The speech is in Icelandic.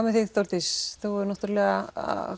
með þig Þórdís þú hefur náttúrulega